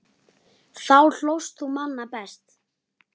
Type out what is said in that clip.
Þá hlóst þú manna mest.